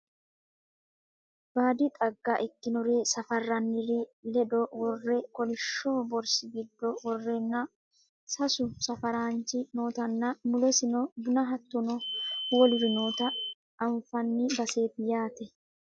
baadi xagga ikkinore safarranniri ledo worre kolihshso borsi giddo worreenna sasu safaraanchi nootanna mulesino bunu hattono woluri noota anfanni baseeti yaate